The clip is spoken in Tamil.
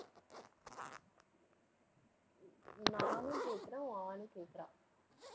நானும் கேட்கிறேன் உன் ஆளும் கேக்குறா.